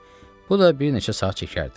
Bu da bir neçə saat çəkərdi.